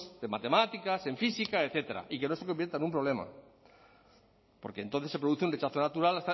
de matemáticas en física etcétera y que no se convierta en un problema porque entonces se produce un rechazo natural